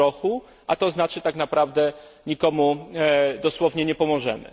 po trochę, a to znaczy, że tak naprawdę nikomu dosłownie nie pomożemy.